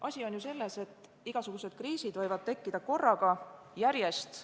Asi on selles, et igasugused kriisid võivad tekkida korraga, järjest.